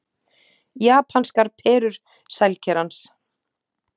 Japanskar perur sælkerans